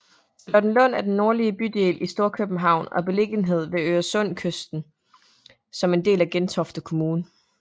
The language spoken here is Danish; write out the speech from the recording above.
Charlottenlund er en nordlig bydel i Storkøbenhavn og er beliggende ved Øresundskysten som en del af Gentofte Kommune